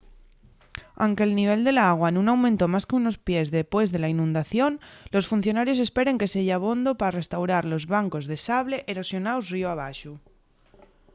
anque’l nivel del agua nun aumentó más qu’unos pies depués de la inundación los funcionarios esperen que seya abondo pa restaurar los bancos de sable erosionaos ríu abaxo